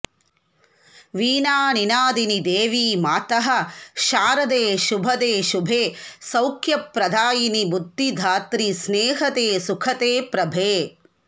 वीणानिनादिनि देवि मातः शारदे शुभदे शुभे सौख्यप्रदायिनि बुद्धिदात्रि स्नेहदे सुखदे प्रभे